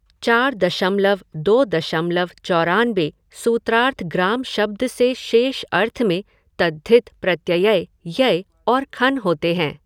चार दशमलव दो दशमलव चौरानबे सूत्रार्थ ग्राम शब्द से शेष अर्थ में तद्धित प्रत्यय य और खञ् होते है।